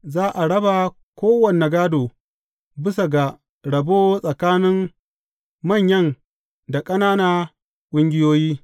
Za a raba kowane gādo bisa ga rabo tsakanin manyan da ƙanana ƙungiyoyi.